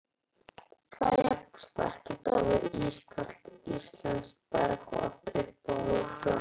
það jafnast ekkert á við ískalt íslenskt bergvatn Uppáhalds vefsíða?